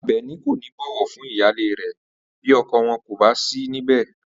Àbè̩ní kò ní bò̩wò̩ fún ìyáálé rè̩ bí o̩ko̩ wo̩n kò bá sí níbè